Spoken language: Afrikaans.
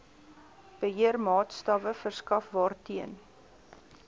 beheermaatstawwe verskaf waarteen